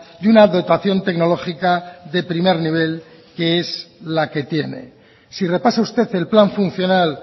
y una dotación tecnológica de primer nivel que es la que tiene si repasa usted el plan funcional